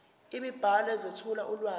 imibhalo ezethula ulwazi